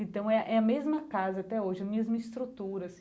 Então é é a mesma casa até hoje, mesma estruturas.